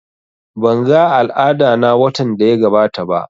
Ban ga al'ada na watan daya gabata ba